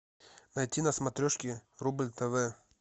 найти на смотрешке рубль тв